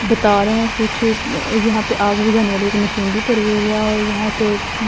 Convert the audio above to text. बता रहे हैं कुछ यहां पे आग बुझाने वाले एक मशीन भी पड़ी हुई है और यहां से--